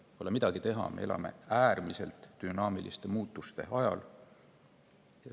Pole midagi teha, me elame äärmiselt dünaamiliste muutuste ajal.